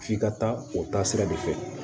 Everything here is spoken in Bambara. F'i ka taa o taasira de fɛ